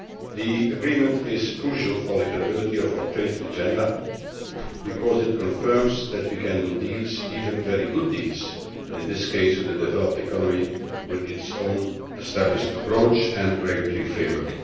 The agreement is crucial for the credibility of our trade agenda, because it confirms that we can do deals even very good deals in this case with a developed economy with its own established approach and regulatory framework.